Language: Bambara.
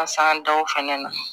An ka san daw fɛnɛ na